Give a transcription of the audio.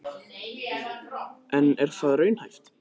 En er það raunhæft?